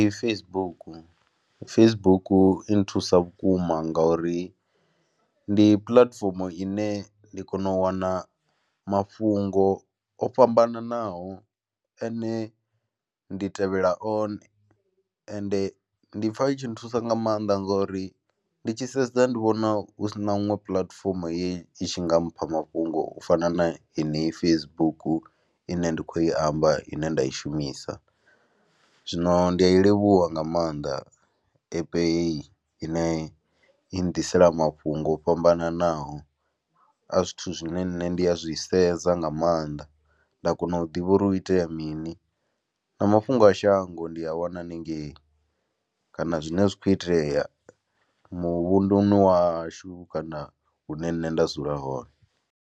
Facebook, Facebook i nthusa vhukuma nga uri ndi puḽatifomo ine ndi kono u wana mafhungo o fhambananaho ane ndi tevhela one ende ndi pfha i tshi nthusa nga maanḓa ngori ndi tshi sedza ndi vhona hu si na huṅwe puḽatifomo ye i tshi nga mpha mafhungo u fana na henei Facebook ine ndi khou i amba ine nda i shumisa. Zwino ndi a i livhuwa nga maanḓa app hei ine i nnḓisela mafhungo o fhambananaho a zwithu zwine nṋe ndi a zwi sedza nga maanḓa, nda kono u ḓivha uri hu itea mini na mafhungo a shango ndi a wana hanengei kana zwine zwa khou itea muvhunduni wa hashu kana hune nṋe nda dzula hone.